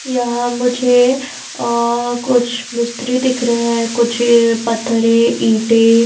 यहां मुझे अअ कुछ मिस्त्री दिख रहे हैं कुछ अ पत्थरे ईंटे।